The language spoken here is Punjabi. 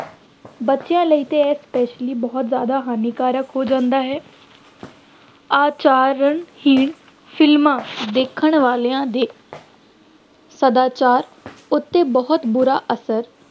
ਬੱਚਿਆਂ ਲਈ ਤਾਂ ਇਹ specially ਬਹੁਤ ਜ਼ਿਆਦਾ ਹਾਨੀਕਾਰਕ ਹੋ ਜਾਂਦਾ ਹੈ ਆਚਾਰਨ-ਹੀਣ ਫਿਲਮਾਂ ਦੇਖਣ ਵਾਲਿਆਂ ਦੇ ਸਦਾਚਾਰ ਉੱਤੇ ਬਹੁਤ ਬੁਰਾ ਅਸਰ